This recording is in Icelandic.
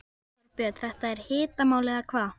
Þorbjörn, þetta er hitamál eða hvað?